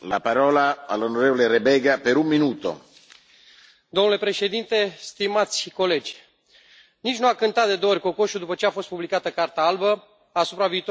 Domnule președinte, stimați colegi, nici nu a cântat de două ori cocoșul după ce a fost publicată Carta albă asupra viitorului Uniunii și iată că Europa cu mai multe viteze s a văzut de trei ori.